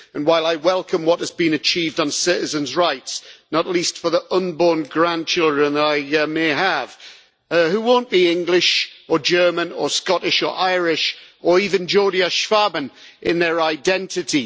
While I welcome what has been achieved on citizens' rights, not least for the unborn grandchildren that I may have, who won't be English or German or Scottish or Irish or even Geordie or Schwaben in their identity